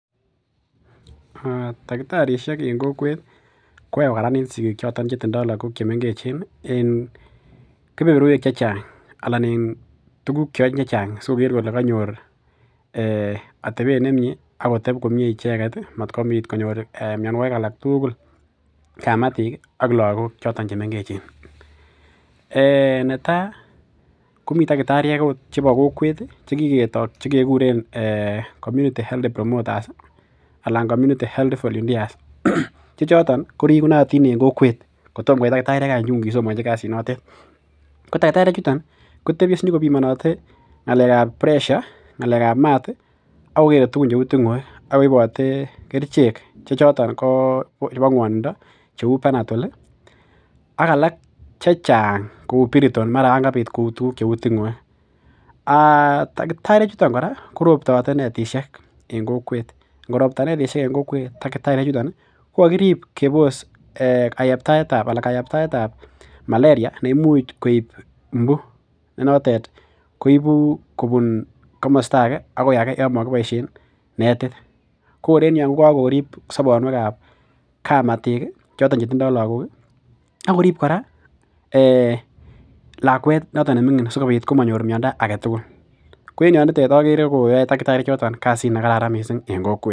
Takitarisiek koyoe kokaranit siretab lakok choto chemengechen koyoe tuguk chechang sikoker kole kanyor atebet nemie akoteb komie ichek motkobit konyor mianikig alak tugul kamatik ak lakog chemengechen netai komii takitariek okot chebo kokwet chekiketoo chekekuren community health promoters anan community health volunteers che choton ko rigunotin en kokwet kotom koit takitariek chekisomanchi kasit noto ko takitariek chuton kotebie sikobimonote ng'alekab buresha , ng'alekab mat ak mat ak ting'oek akokere tugun cheuu ting'oek akoibate kerichek che choto ko chebo ng'undindi ak alak Cheng kouu biriton Yoon kobit kou tuguk cheuu ting'oek. Takitariek chuton kora korobtate netisiek en kokwet kingorobta netisiek en kokwet kokarib kebos kayaaptaetab malaria neimuch koib imbu nenotet koibu kobun komesto age akoi age yomokiboisien neit kokor en yu ko kor kokirib sobon wekab kamatik choton chetindo lakok akorib kora lakuet noto neming'in simanyor miando agetugul ko nito akere koyoe takitariek kasit nekararan en kokwet.